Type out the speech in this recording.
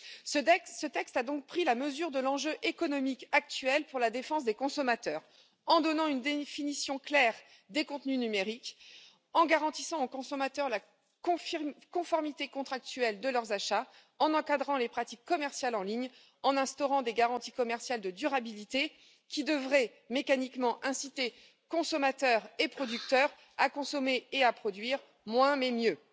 Ce texte a donc pris la mesure de l'enjeu économique actuel pour la défense des consommateurs en donnant une définition claire des contenus numériques, en garantissant aux consommateurs la conformité contractuelle de leurs achats, en encadrant les pratiques commerciales en ligne, en instaurant des garanties commerciales de durabilité qui devraient mécaniquement inciter consommateurs et producteurs à consommer et à produire moins, mais mieux.